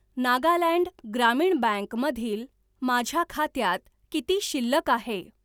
नागालँड ग्रामीण बँक मधील माझ्या खात्यात किती शिल्लक आहे?